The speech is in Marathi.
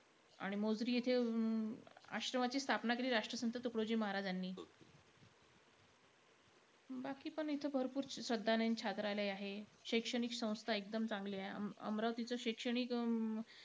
आणि मोजरी येथे अं आश्रमाची स्थापना केली राष्ट्रसंत तुकडोजी महाराजांनी . बाकीपण इथं भरपूर आहेत. शैक्षणिक संस्था एकदम चांगल्या आहे. अमरावतीचं शैक्षणिक अं